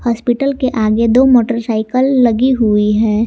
Hospital के आगे दो मोटरसाइकिल लगी हुई है।